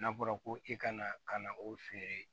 N'a fɔra ko i kana ka na o feere